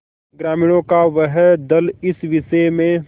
ग्रामीणों का वह दल इस विषय में